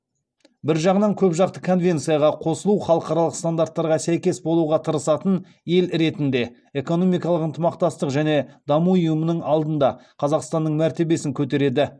бір жағынан көпжақты конвенцияға қосылу халықаралық стандарттарға сәйкес болуға тырысатын ел ретінде экономикалық ынтымақтастық және даму ұйымының алдында қазақстанның мәртебесін көтереді